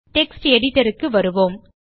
text editorக்கு வருவோம்